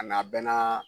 A n'a bɛɛ na